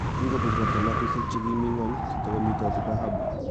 kingobut robta natusiek che kimi ng'ony kitokomitoti dhahabu ,"